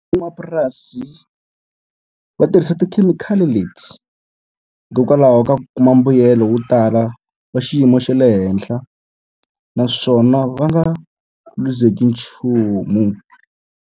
Van'wamapurasi va tirhisa tikhemikhali leti hikokwalaho ka ku kuma mbuyelo wo tala wa xiyimo xa le henhla, naswona va nga luzekeriwi nchumu.